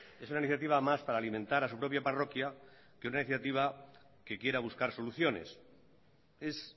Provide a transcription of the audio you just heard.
es una iniciativa más para alimentar a su propia parroquia que una iniciativa que quiera buscar soluciones es